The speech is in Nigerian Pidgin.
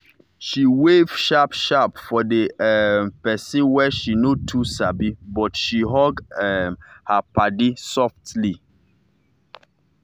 she wave sharp sharp for the um pesin wey she no too sabi but she hug um her paddy softly.